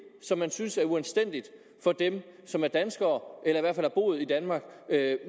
som man synes er uanstændigt for dem som er danskere eller i hvert fald har boet i danmark